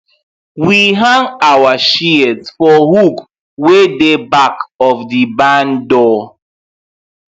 we hang our shears for hook wey dey back of the barn door